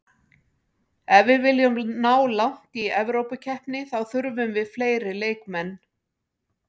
Ef við viljum ná langt í Evrópukeppni þá þurfum við fleiri leikmenn.